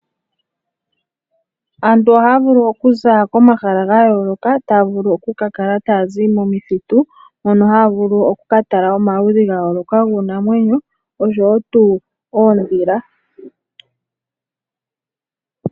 Aantu ohaya vulu okuza komahala ga yooloka taya vulu oku kakala taya zi momithitu mono haya vulu okuka tala omaludhi gayooloka giinamwenyo oshowo tuu oondhila.